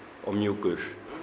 og mjúkur